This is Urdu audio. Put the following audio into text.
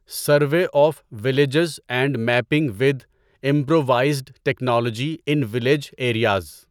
survey of villages and mapping with improvised technology in village areas